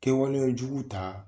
Kɛwalejugu ta.